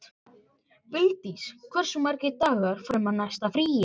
Vildís, hversu margir dagar fram að næsta fríi?